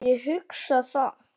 Ég hugsa það.